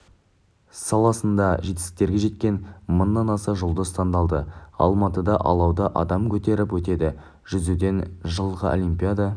саласында жетістіктерге жеткен мыңнан аса жұлдыз таңдалды алматыда алауды адам көтеріп өтеді жүзуден жылғы олимпиада